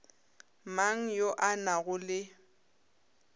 mang yo a nago le